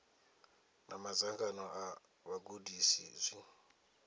na madzangano a vhagudisi zwi